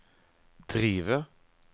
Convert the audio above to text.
drive